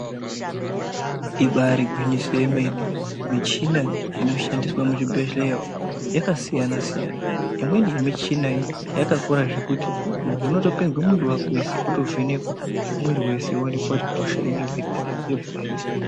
Ibari gwinyiso yemene michina inoshandiswe muzvibhedhleya umu Yakasiyana siyana imweni yemuchina iyi yakakura zvekuti muntu unotopinzwa mWiri wake wese otovhenekwa mwiri wese oonekwa kuti hosha inenge iri 0api yobva yahinwa.